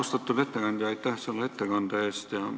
Austatud ettekandja, aitäh selle ettekande eest!